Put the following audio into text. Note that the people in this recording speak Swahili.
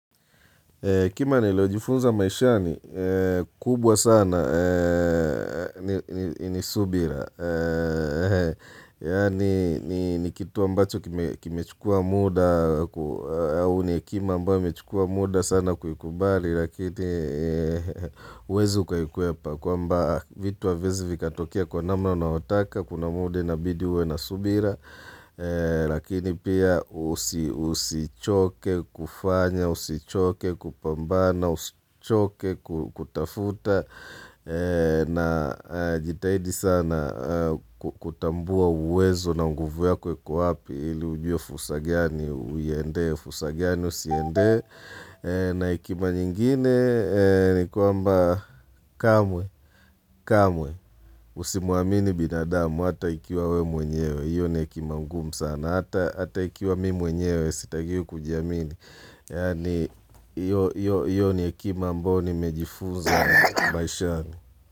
Hekima niliyojifunza maishani, kubwa sana ni subira. Yaani, ni kitu ambacho kimechukua muda, au ni hekima ambayo imechukua muda sana kuikubali, lakini, huwezi ukaikwepa, kwamba vitu haviwezi vikatokea kwa namna unayotaka, kuna muda inabidi uwe na subira, lakini pia usichoke kufanya, usichoke kupambana usichoke kutafuta najitahidi sana kutambua uwezo na nguvu yako iko wapi ili ujue fursa gani uiendee fursa gani usiendee na hekima nyingine ni kwamba kamwe kamwe usimwamini binadamu hata ikiwa wewe mwenyewe hiyo ni hekima ngumu sana hata ikiwa mimi mwenyewe sitakiwi kujiamini Yaani hiyo ni hekima ambayo nimejifunza maishani.